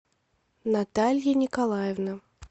наталья николаевна